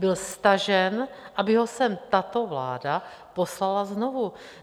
Byl stažen, aby ho sem tato vláda poslala znovu.